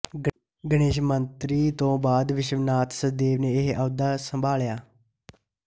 ਗਣੇਸ਼ ਮੰਤਰੀ ਤੋਂ ਬਾਅਦ ਵਿਸ਼ਵਨਾਥ ਸਚਦੇਵ ਨੇ ਇਹ ਅਹੁਦਾ ਸੰਭਾਲਿਆ